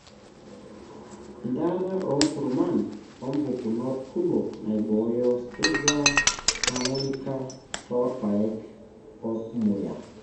enteata oonkurman oompukunot kumok naaiboyo striga hermonthica toorpaek o rmuya.